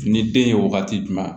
Ni den ye wagati jumɛn